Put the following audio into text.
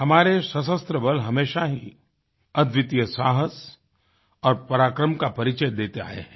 हमारे सशस्त्र बल हमेशा ही अद्वितीय साहस और पराक्रम का परिचय देते आये हैं